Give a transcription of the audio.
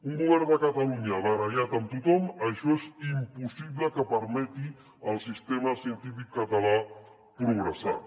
un govern de catalunya barallat amb tothom això és impossible que permeti al sistema científic català progressar